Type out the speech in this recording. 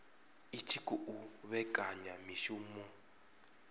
i tshi khou vhekanya mishumo